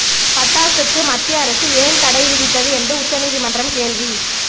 பட்டாசுக்கு மத்திய அரசு ஏன் தடை விதித்தது என்று உச்சநீதிமன்றம் கேள்வி